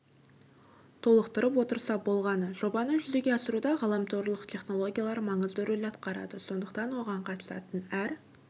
толықтырып отырса болғаны жобаны жүзеге асыруда ғаламторлық технологиялар маңызды рөл атқарады сондықтан оған қатысатын әр